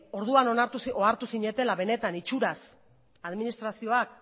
orduan ohartu zinetela benetan itxuraz administrazioak